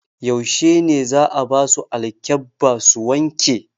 Yaushe ne za'a basu alƙebba su wanke?